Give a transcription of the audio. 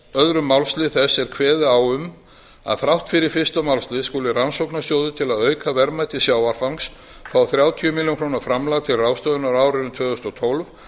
öðrum málslið þess er kveðið á um að þrátt fyrir fyrsta málslið skuli rannsóknarsjóður til að auka verðmæti sjávarfangs fá þrjátíu milljónir króna framlag til ráðstöfunar á árinu tvö þúsund og tólf